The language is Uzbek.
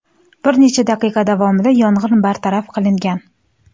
Bir necha daqiqa davomida yong‘in bartaraf qilingan.